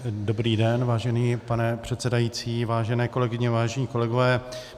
Dobrý den, vážený pane předsedající, vážené kolegyně, vážení kolegové.